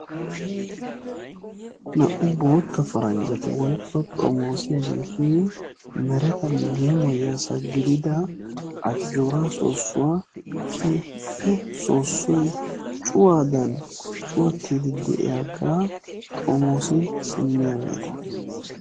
Na'u bootta paranjatti woykko xomossiyaagetti merettan yemoyiyassa giddida ajora soosuwaa keeppe soosoy cuwaadan cuwattidi de'yaagga xomossi simiyagetta.